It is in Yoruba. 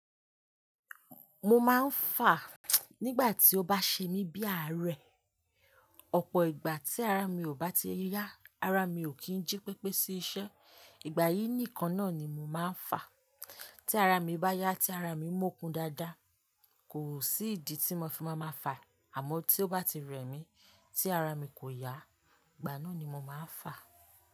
Mo máa ń fà nígbà tí ó bá ṣe mí bí ààrẹ. Ọ̀pọ̀ ìgbà tí ara mi ò bá ti yá, ara mi ò kí ń jí pépé sí iṣẹ́, ìgbà yìí nìkan náà ni mo máa ń fà. Tí ara mi bá yá, tí ara mi mọ́kun dáadáa, kò sí ìdí tí mo fi máa máa fà, àmọ́ tí ó bá ti rẹ̀ mí, tí ara mi kò yá, ìgbà náà ni mo máa ń fà.